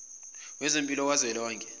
wezempilo ka zwelonke